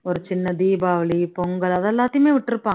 ஒரு சின்ன தீபாவளி பொங்கல் அது எல்லாத்தையுமே விட்டுருப்பாங்க